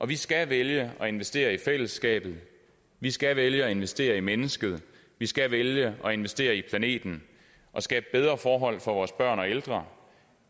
vi skal vælge at investere i fællesskabet vi skal vælge at investere i mennesket vi skal vælge at investere i planeten og skabe bedre forhold for vores børn og ældre